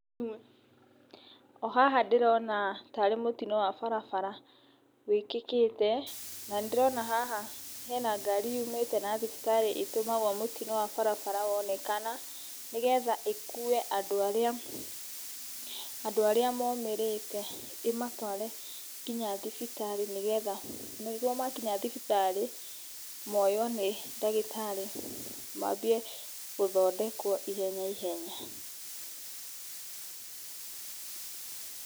O haha ndĩrona ta arĩ mũtino wa barabara wĩkĩkĩte. Na nĩ ndĩrona haha hena ngari yumĩte na thibitari ĩtũmagwo mũtino wa barabara wonekana. Nĩgetha ĩkue andũ arĩa momĩrĩte ĩmatware ginya thibitari, nĩgetha nĩguo makinya thibitari moywo nĩ ndagĩtarĩ, maambie gũthondekwo ihenya ihenya.